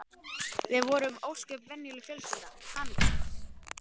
Við vorum ósköp venjuleg fjölskylda, hamingjusöm.